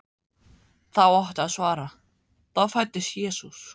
þá átti að svara: þá fæddist Jesús.